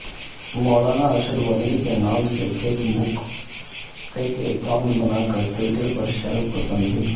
مولانا ارشد مدنی کے نام سے فیک اکائونٹ بناکر ٹوئٹر پر شرپسندی